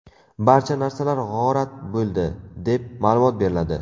Barcha narsalar g‘orat bo‘ldi” deb, ma’lumot beriladi.